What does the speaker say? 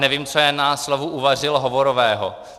Nevím, co je na slovu uvařil hovorového.